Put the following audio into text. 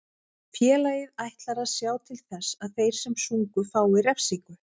Félagið ætlar að sjá til þess að þeir sem sungu fái refsingu.